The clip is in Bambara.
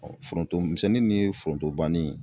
foronto misɛnni ninnu ye foronto banni.